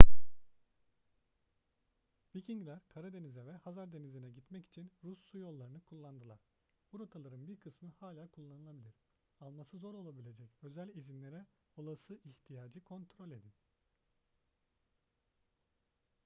vikingler karadeniz'e ve hazar denizi'ne gitmek için rus su yollarını kullandılar bu rotaların bir kısmı hala kullanılabilir alması zor olabilecek özel izinlere olası ihtiyacı kontrol edin